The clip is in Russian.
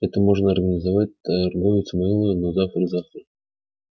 это можно организовать торговец мэллоу но завтра завтра